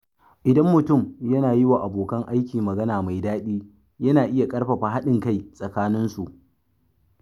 Idan mutum yana yi wa abokan aiki magana mai daɗi, yana iya ƙarfafa haɗin kai tsakanin su.